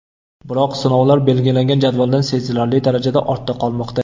Biroq sinovlar belgilangan jadvaldan sezilarli darajada ortda qolmoqda.